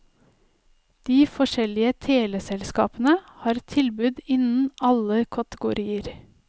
De forskjellige teleselskapene har tilbud innen alle kategorier.